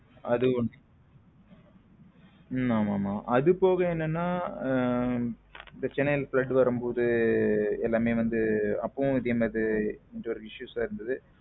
அது ஒன்னு உம் ஆமா ஆமா அதுபோல என்னன்னா இந்த சென்னையில flood வரும்போது எல்லாமே வந்து அப்பாவும் இந்த இதே மாரி issues லம் இருந்தது.